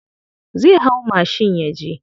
Zai hau mashin yaje.